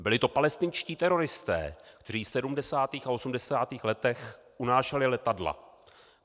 Byli to palestinští teroristé, kteří v 70. a 80. letech unášeli letadla!